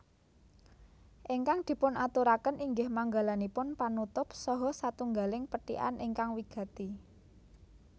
Ingkang dipunaturaken inggih manggalanipun panutup saha satunggaling pethikan ingkang wigati